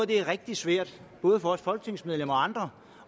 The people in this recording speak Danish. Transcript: det er rigtig svært både for folketingsmedlemmer og andre